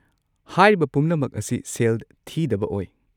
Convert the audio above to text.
ꯍꯥꯏꯔꯤꯕ ꯄꯨꯝꯅꯃꯛ ꯑꯁꯤ ꯁꯦꯜ ꯊꯤꯗꯕ ꯑꯣꯏ꯫